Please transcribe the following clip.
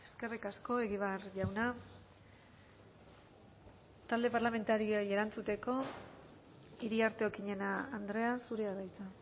eskerrik asko egibar jauna talde parlamentarioei erantzuteko iriarte okiñena andrea zurea da hitza